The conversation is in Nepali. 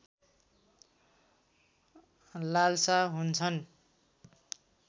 लालसा हुन्छन्